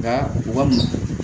Nka u ka mɔ